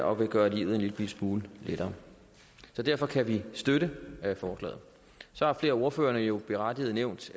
og vil gøre livet en lille smule lettere derfor kan vi støtte forslaget så har flere af ordførerne jo berettiget nævnt